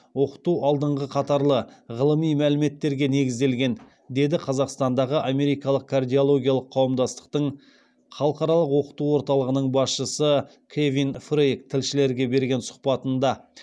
оқыту алдыңғы қатарлы ғылыми мәліметтерге негізделген деді қазақстандағы америкалық кардиологиялық қауымдастықтың халықаралық оқыту орталығының басшысы кевин фрейк тілшілерге берген сұхбатында